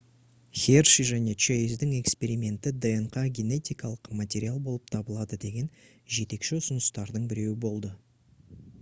херши және чейздің эксперименті днқ генетикалық материал болып табылады деген жетекші ұсыныстардың біреуі болды